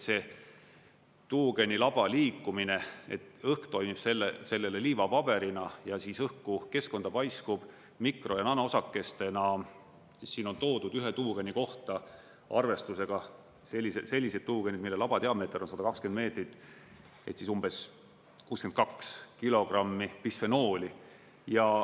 See tuugenilaba liikumine, õhk toimib sellele liivapaberina ja õhku, keskkonda paiskub mikro- ja nanoosakestena, siin on toodud, ühe tuugeni kohta arvestusega – sellised tuugenid, mille laba diameeter on 120 meetrit – umbes 62 kilogrammi bisfenooli.